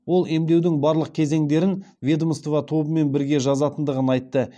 ол емдеудің барлық кезеңдерін ведомство тобымен бірге жазатындығын айтты